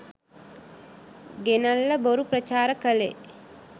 ගෙනල්ල බොරු ප්‍රචාර කලේ